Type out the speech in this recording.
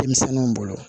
Denmisɛnninw bolo